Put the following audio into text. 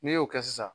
N'i y'o kɛ sisan